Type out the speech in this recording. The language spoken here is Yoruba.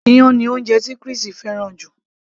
iyán ni oúnjẹ tí Chris fẹ́ràn jù